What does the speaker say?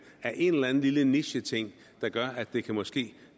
af en eller anden lille nicheting der gør at det måske